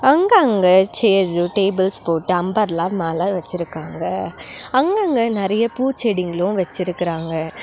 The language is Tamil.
அங்கங்க சேர்ஸு டேபிள்ஸ் போட்டு அம்பர்லா மேல வச்சிருக்காங்க அங்கங்க நெறைய பூச்செடிங்ளு வச்சிருக்கறாங்க.